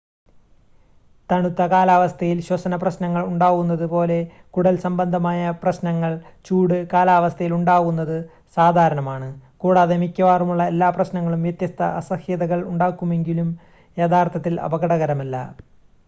തണുത്ത കാലാവസ്ഥയിൽ ശ്വസന പ്രശ്നങ്ങൾ ഉണ്ടാവുന്നത് പോലെ കുടൽസംബന്ധമായ പ്രശ്നങ്ങൾ ചൂട് കാലാവസ്ഥയിൽ ഉണ്ടാവുന്നത് സാധാരണമാണ് കൂടാതെ മിക്കവാറുമുള്ള എല്ലാ പ്രശ്നങ്ങളും വ്യത്യസ്ത അസഹ്യതകൾ ഉണ്ടാകുമെങ്കിലും യഥാർത്ഥത്തിൽ അപകടകരമല്ല